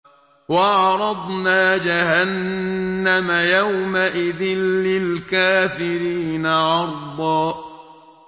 وَعَرَضْنَا جَهَنَّمَ يَوْمَئِذٍ لِّلْكَافِرِينَ عَرْضًا